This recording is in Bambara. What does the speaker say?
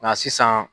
Nka sisan